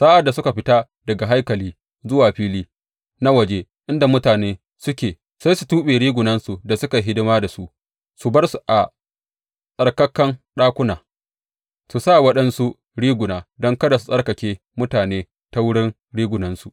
Sa’ad da suka fita daga haikali zuwa fili na waje inda mutane suke, sai su tuɓe rigunan da suka yi hidima da su su bar su a tsarkakan ɗakuna, su sa waɗansu riguna, don kada su tsarkake mutane ta wurin rigunansu.